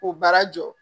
K'o baara jɔ